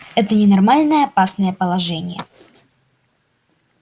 это ненормальное опасное положение